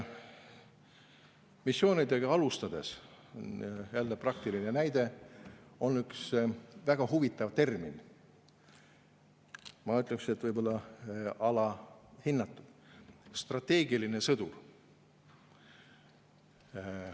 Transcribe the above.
Missioonidega alustades – jälle praktiline näide – ühe väga huvitava termini, mis, ma ütleks, võib olla alahinnatud: strateegiline sõdur.